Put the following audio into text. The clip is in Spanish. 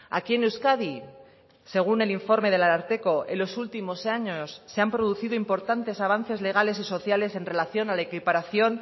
aquí en euskadi según el informe del ararteko en los últimos años se han producido importantes avances legales y sociales en relación a la equiparación